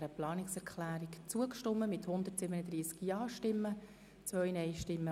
Sie haben die Planungserklärung angenommen.